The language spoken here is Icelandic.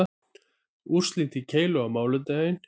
Úrslit í keilu á mánudaginn